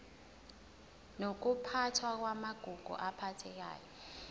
nokuphathwa kwamagugu aphathekayo